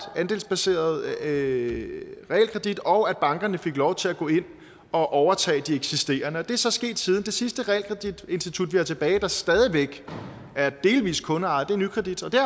andelsbaseret realkredit og at bankerne fik lov til at gå ind og overtage de eksisterende realkreditinstitutter det er så sket siden det sidste realkreditinstitut vi har tilbage der stadig væk er delvis kundeejet er nykredit og det